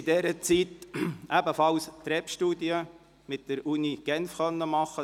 In dieser Zeit haben wir ebenfalls an der «REP»-Studie der Universität Genf teilgenommen.